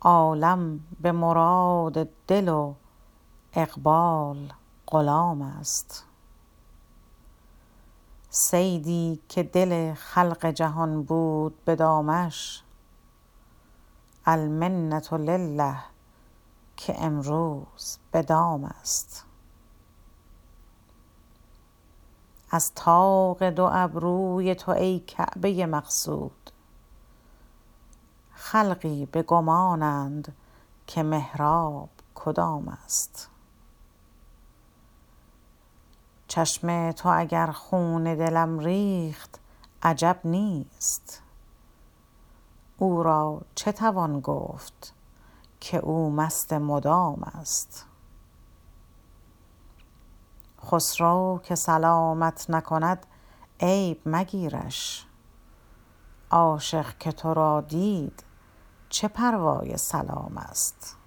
عالم به مراد دل و اقبال غلام است صیدی که دل خلق جهان بود به دامش المنت لله که امروز به دام است چون طالع آن نیست که بوسم لب لعلت ما را نظری از مه روی تو تمام است از طاق دو ابروی تو ای کعبه مقصود خلقی به گمانند که تا کعبه کدام است چشم تو اگر خون دلم ریخت عجب نیست او را چه توان گفت که او مست مدام است خسرو که سلامت نکند عیب مگیرش عاشق که ترا دید چه پروای سلام است